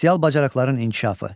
Sosial bacarıqların inkişafı.